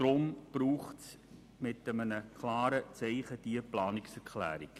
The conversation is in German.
Deshalb braucht es diese Planungserklärung.